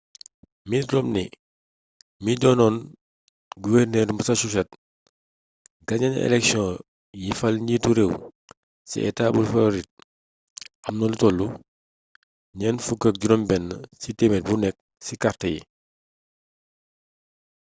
mitt romney mii doonoon guvernër massachusetts gañena eleksioŋ yi fal njiitu réew ci etaa bu floride amna lu tollu 46% ci kart yi